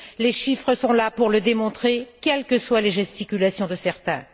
les chiffres sont là pour le démontrer, quelles que soient les gesticulations de certains.